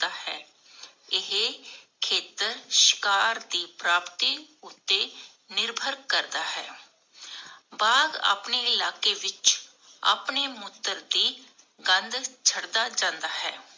ਏਹੇ ਖੇਤਰ ਸ਼ਿਕਾਰ ਦੀ ਪ੍ਰਾਪਤੀ ਉੱਤੇ ਨਿਰਭਰ ਕਰਦਾ ਹੈ ਬਾਘ ਆਪਣੇ ਇਲਾਕੇ ਵਿਚ ਆਪਣੇ ਮੂਤਰ ਦੀ ਗੰਢ ਛੱਡਦਾ ਜਾਂਦਾ ਹੈ।